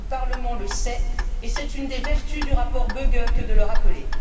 Le Parlement le sait, et c'est une des vertus du rapport Böge que de le rappeler.